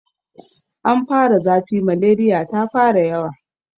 Ana fara zafi, maleriya ta fara yawa.